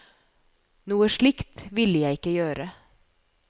Noe slikt ville jeg ikke gjøre.